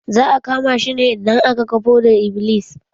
Za a kama shi idan aka gan fodar-iblis.